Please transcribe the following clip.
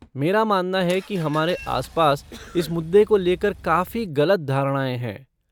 मेरा मानना है कि हमारे आसपास इस मुद्दे को लेकर काफी गलत धारणाएँ हैं।